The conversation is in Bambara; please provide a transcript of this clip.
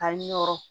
A yɔrɔ